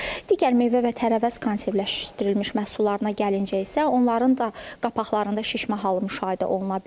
Digər meyvə və tərəvəz konservləşdirilmiş məhsullarına gəlincə isə onların da qapaqlarında şişmə halı müşahidə oluna bilər.